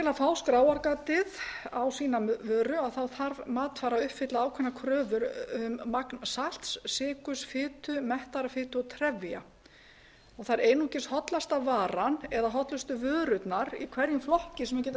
að fá skráargatið á sína vöru þarf matvara að uppfylla ákveða kröfu um magn salts sykurs fitu mettaðrar fitu og trefja það er einungis hollasta varan eða hollustu vörurnar í hverjum flokki sem geta